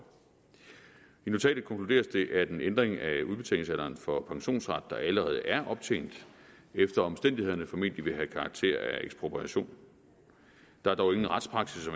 i notatet konkluderes det at en ændring af udbetalingsalderen for pensionsret der allerede er optjent efter omstændighederne formentlig vil have karakter af ekspropriation der er dog ingen retspraksis